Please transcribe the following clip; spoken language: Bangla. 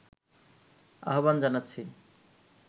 আহ্বান জানাচ্ছি